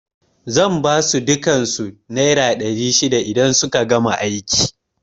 Zan basu dukan su naira ɗari shida idan suka gama aiki